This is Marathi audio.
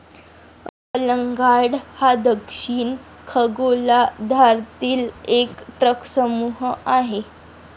अलंगार्ड हा दक्षिण खगोलार्धांतील एक ट्रकसमूह आहे.